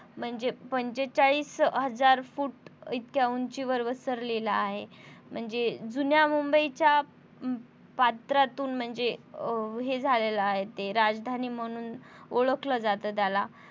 म्हणजे पंचेचाळीस हजार फूट इतक्या उंचीवर वसरलेलं आहे म्हणजे जुन्या मुंबईच्या पात्रातून म्हणजे हे झालेलं आहे ते राजधानी म्हणून ओळखलं जात त्याला.